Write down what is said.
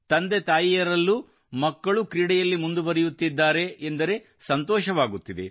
ತಂದೆ ತಾಯಿಯರಲ್ಲೂ ಮಕ್ಕಳು ಕ್ರೀಡೆಯಲ್ಲಿ ಮುಂದುವರಿಯುತ್ತಿದ್ದಾರೆ ಎಂದರೆ ಸಂತೋಷವಾಗುತ್ತಿದೆ